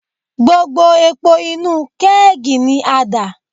Gbogbo epo inú kẹ́ẹ̀gì ni a dà.